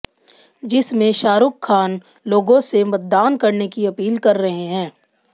जिसमें शाहरुख खान लोगों से मतदान करने की अपील कर रहे हैं